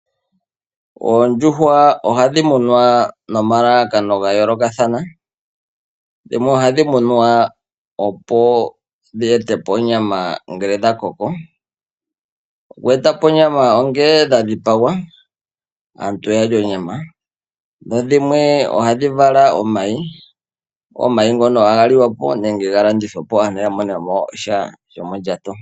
Oondjuhwa ohadhi munwa nomalalakano ga yoolokathana. Dhimwe ohadhi munwa opo dhi ete po onyama ngele dha koko. Oku eta po onyama ongele dha dhipagwa aantu ya lye onyama. Dhimwe ohadhi vala omayi. Omayi ohaga liwa po nenge ga landithwe po aantu ya mone mo sha shomondjato.